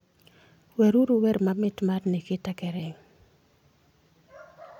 weruru wer mamit mar nikita kering